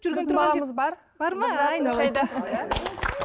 баламыз бар бар ма